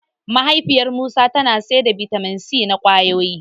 Mahaifiyar Musa tana sayar da bitamin C na ƙwayoyi.